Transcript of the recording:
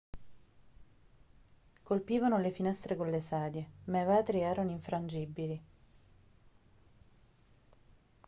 colpivano le finestre con le sedie ma i vetri erano infrangibili